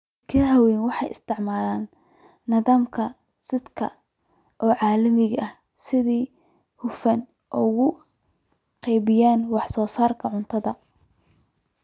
Shirkadaha waaweyni waxay isticmaalaan nidaamyada saadka ee caalamiga ah si ay si hufan ugu qaybiyaan wax soo saarka cuntada.